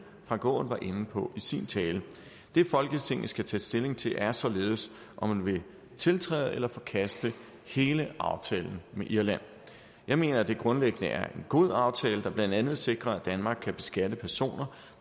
frank aaen var inde på i sin tale det folketinget skal tage stilling til er således om man vil tiltræde eller forkaste hele aftalen med irland jeg mener at det grundlæggende er en god aftale der blandt andet sikrer at danmark kan beskatte personer